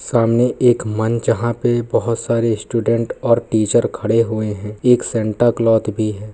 सामने एक मंच जहाँ पे बहुत सारे स्टूडेंट और टीचर खड़े हुए हैं एक सेंटा क्लॉथ भी है।